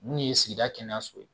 Mun ye sigida kɛnɛya so ye